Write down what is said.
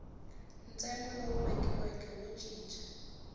ntsengo lowu vekiweke wo cinca